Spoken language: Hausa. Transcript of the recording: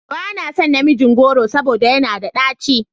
Ba na son namijin goro saboda yana da ɗaci.